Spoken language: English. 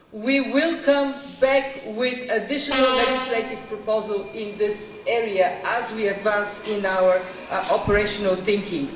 We will come back with additional legislative proposals in this area as we advance in our operational thinking.